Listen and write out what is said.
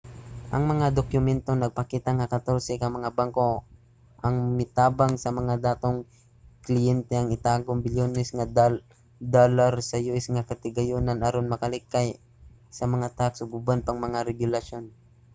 ang mga dokumento nagpakita nga katorse ka mga banko ang mitabang sa mga datong kliyente nga itago ang bilyones nga dolyar sa us nga katigayonan aron makalikay sa mga tax ug uban pang mga regulasyon